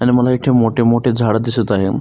आणि मला इथ मोठी मोठी झाड दिसत आहेत.